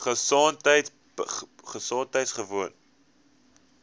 gesondheidgewoon